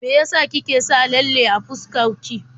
Me ya sa kike sa lalle a fuskar ki?